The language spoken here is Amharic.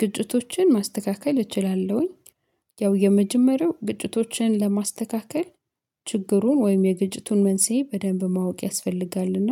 ግጭቶችን ማስተካከል እችላለሁኝ። ያው የመጀመሪያው ግጭቶችን ለማስተካከል ችግሩን ወይም የግጭቱን መንስኤ በደንብ ማወቅ ያስፈልጋልና